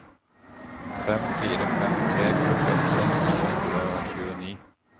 fem fire fem tre førtiåtte to hundre og tjueni